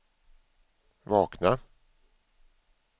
vakna